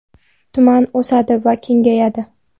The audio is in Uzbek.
Tuman o‘sadi va kengayadi.